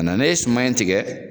A nanen suma in tigɛ